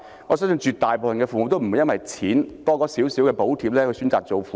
我相信絕大部分父母也不會因為增加少許金錢補貼而選擇當父母。